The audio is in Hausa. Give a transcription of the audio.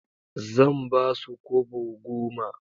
Zan ba su kobo goma.